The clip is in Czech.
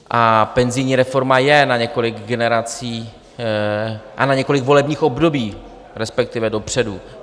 A penzijní reforma je na několik generací... a na několik volebních období, respektive, dopředu.